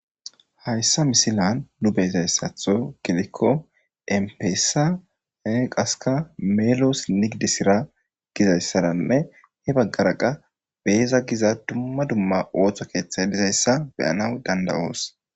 Hayssa misilan nu beezayssatho gilikko empeessa e qaska meeloos nigdisira gizayssaranne he baggara qa beeza giza dumma dumma ooththo keeththay dizayssa beyanaw danda'oos.